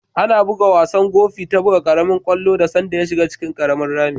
Ana bugan wasan Gofi ta buga karemin kwallo da sanda ya shiga cikin rami.